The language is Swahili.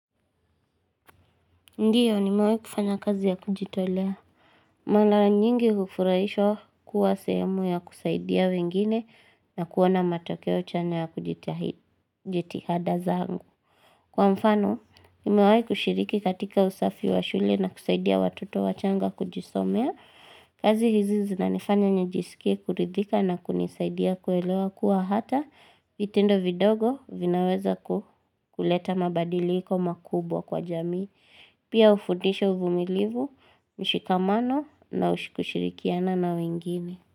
Ndiyo ni mewai kufanya kazi ya kujitolea. Mala nyingi ufurahishwa kuwa sehemu ya kusaidia wengine na kuona matokeo chanya ya kujitihada zaangu. Kwa mfano, nimewai kushiriki katika usafi wa shule na kusaidia watoto wachanga kujisomea. Kazi hizizi na nifanya nijisikie kuridhika na kunisaidia kuelewa kuwa hata vitindo vidogo vinaweza kuleta mabadili hiko makubwa kwa jamii. Pia ufudisha uvumilivu mshikamano na ushikushirikiana na wengine.